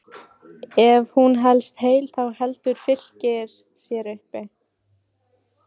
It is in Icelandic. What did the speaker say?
Ef hún helst heil þá heldur Fylkir sér uppi.